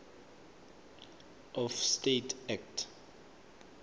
of estates act